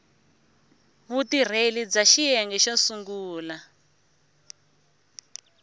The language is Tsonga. vutirheli bya xiyenge xo sungula